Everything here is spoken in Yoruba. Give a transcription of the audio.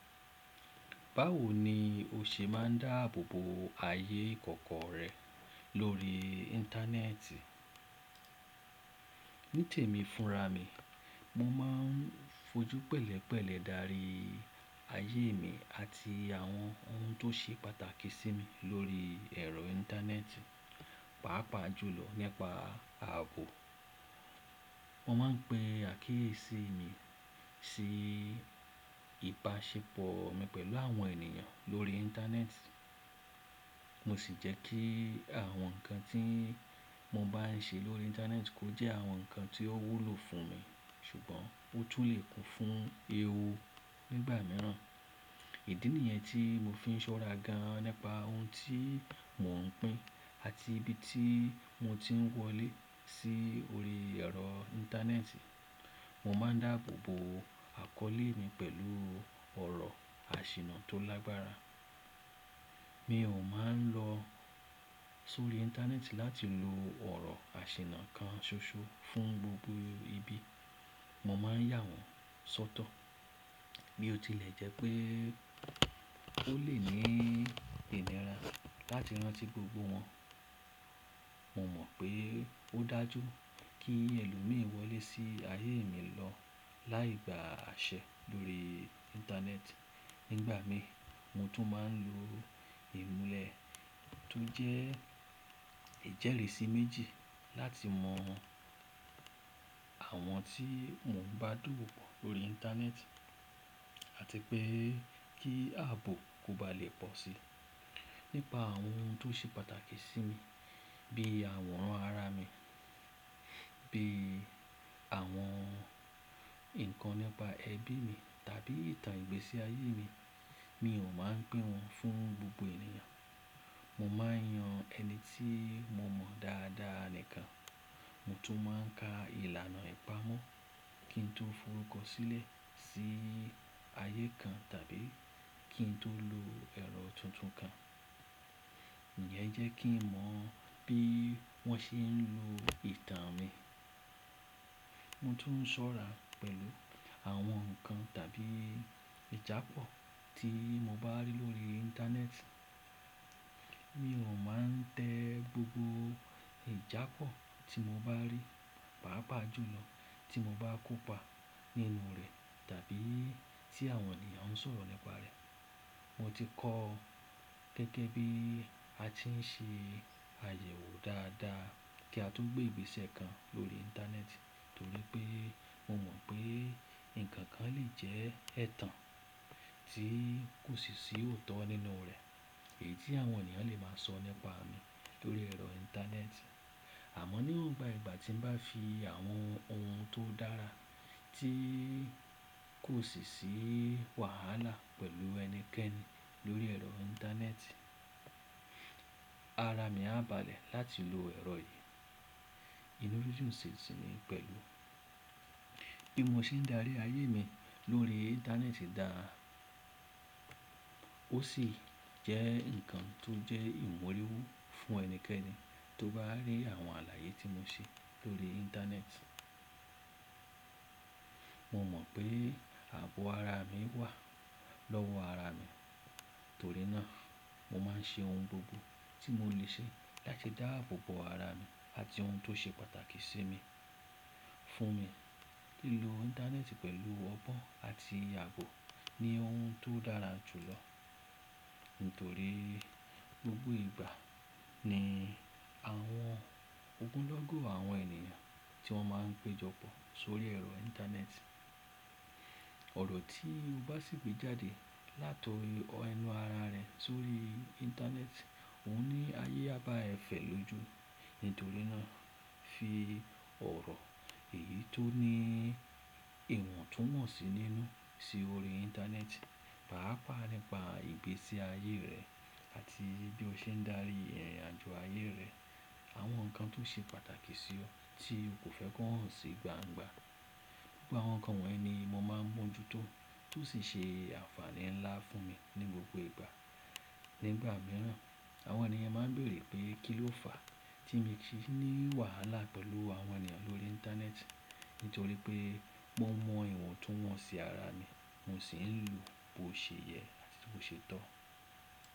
Báwo ni o ṣe máa ń dáàbò bo ayé ìkọ̀kọ̀ rẹ lórí Íńtánẹ́ẹ̀tì? Ní tèmi fúnra mi, mo máa ń fojú pẹ̀lẹ́pẹ̀lẹ́ darí ayé mi àti àwọn ohun tó ṣe pàtàkì sí mi lórí ẹ̀rọ Íńtánẹ́ẹ̀tì, pàápàá jùlọ nípa ààbò. Mo máa ń pe àkíyèsí mi sí ìbáṣepọ̀ mi pẹ̀lú àwọn ènìyàn lórí Íńtánẹ́ẹ̀tì, mo sì jẹ́ kí àwọn nǹkan tí mo bá ń ṣe lórí Íńtánẹ́ẹ̀tì kó jẹ́ àwọn nǹkan tí ó wúlò fún mi ṣùgbọ́n ó tún lè kún fún ewu nígbà mìíràn. Ìdí nìyẹn tí mo fi ń ṣọ́ra gan nípa ohun tí mò ń pín àti ibi tí mo ti ń wọlé sí orí ẹ̀rọ Íńtánẹ́ẹ̀tì. Mo máa ń dáàbò bo àkọ́lé mi pẹ̀lú ọ̀rọ̀ àsìnà tó lágbára. Mi ò máa ń lọ sórí Íńtánẹ́ẹ̀tì láti lo ọ̀rọ̀ àsìnà kan ṣoṣo fún gbogbo ibi. Mo máa ń yà wọ́n sọ́tọ̀. Mi ò tilẹ̀ jẹ́ pé ó lè ní ìlera láti rántí gbogbo wọn. Mo mọ̀ pé ó dájú kí ẹlòmíi wọlé sí ayé mi lọ láì gba àṣẹ lórí Íńtánẹ́ẹ̀tì. Nígbà mi, mo tún máa ń lo ìmúlẹ̀ tó jẹ́ ìjẹ́lẹ̀ sí méjì láti mọ àwọn tí mò ń bá dowo po lórí Íńtánẹ́ẹ̀tì àti pé kí ààbò kò bá lè pọ̀ sí i. Nípa àwọn ohun tó ṣe pàtàkì sí mi bí i àwòrán ara mi, bí i àwọn nǹkan nípa ẹbí mi tàbí ìtàn ìgbésí ayé mi, mi ò máa ń pín wọn fún gbogbo ènìyàn. Mo máa ń yan ẹni tí mo mọ̀ dáadáa nìkan. Mo tún máa ń ka ìlànà ìpamọ́ kí n tó forúkọ sílẹ̀ sí ayé kan tàbí kí n tó lo ẹ̀rọ tuntun kan. Ìyẹn jẹ́ kí mọ̀ bí wọ́n ṣe ń lo ìtàn mi. Mo tún ń ṣọ́ra pẹ̀lú àwọn nǹkan tàbí ìjá pọ̀ tí mo bá rí lórí Íńtánẹ́ẹ̀tì. Mi ò máa ń tẹ gbogbo ìjá pọ̀ tí mo bá rí, pàápàá jùlọ tí mo bá kópa nínú rẹ̀ tàbí tí àwọn ènìyàn ń sọ̀rọ̀ nípa rẹ̀. Mo ti kọ́ gẹ́gẹ́ bí a ti ń ṣe àyẹ̀wò dáadáa kí a to gbè igbese kan lórí Íńtánẹ́ẹ̀tì nítorí pé mo mọ̀ pé ǹkan kan lè jẹ́ ẹ̀tàn tí kò sì sí òótọ́ nínú rẹ̀, èyí tí àwọn ènìyàn lè máa sọ nípa mi lórí ẹ̀rọ Íńtánẹ́ẹ̀tì. Àmọ́ níwòn ba ìgbà tí mo bá fi àwọn ohun tó dára tí kò sì sí wàhálà pẹ̀lú ẹnikẹ́ni lórí ẹ̀rọ Íńtánẹ́ẹ̀tì, ara mi á baàlẹ̀ láti lo ẹ̀rọ yìí. Ìnújú sì ń sìnmi pẹ̀lú. Bí mo ṣe ń darí ayé mi lórí Íńtánẹ́ẹ̀tì dáa, ó sì jẹ́ ǹkan tó jẹ́ ìmoríwú fún ẹnikẹ́ni tó bá rí àwọn àlàyé tí mo ṣe lórí Íńtánẹ́ẹ̀tì. Mo mọ̀ pé ààbò ara mi wà lọ́wọ́ ara mi, torí náà mo máa ń ṣe ohun gbogbo tí mo lè ṣe láti dáàbò bo ara mi àti ohun tó ṣe pàtàkì sí mi fún mi. Lílọ Íńtánẹ́ẹ̀tì pẹ̀lú ọgbọ́n àti ààbò ni ohun tó dára jùlọ nítorí gbogbo ìgbà ni àwọn ogunlọ́gọ̀ àwọn ènìyàn tí wọ́n máa ń péjọ pọ̀ sórí ẹ̀rọ Íńtánẹ́ẹ̀tì. Ọ̀rọ̀ tí o bá sì gbé jáde látọ̀ ori ẹnú ara rẹ sórí Íńtánẹ́ẹ̀tì, òun ní ayé a ba ẹ fẹ̀ lojú. Nítorí náà fi ọ̀rọ̀ èyí tó ní ìwọ̀ntúnwọ̀nsì nínú sí orí Íńtánẹ́ẹ̀tì, pàápàá nípa ìgbésí ayé rẹ àti bí o ṣe ń darí ìrìnàjò ayé rẹ, àwọn nǹkan tó ṣe pàtàkì sí ọ tí o kò fẹ́ kí wọ́n si gbángba. Gbogbo àwọn nǹkan wọ̀nyí ni mo máa ń mójútó, tó sì ṣe àǹfààní ńlá fún mi ní gbogbo ìgbà. Nígbà mìíràn, àwọn ènìyàn máa ń beere pé kí ló fà á tí mi ki ní wàhálà pẹ̀lù àwọn ènìyàn lórí Íńtánẹ́ẹ̀tì. Nítorí pé mo mọ ìwọ̀ntúnwọ̀nsì ara mi, mo sì ń lù bó ṣe yẹ àti bó ṣe tọ́.